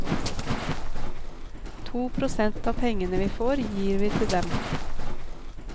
To prosent av pengene vi får, gir vi til dem.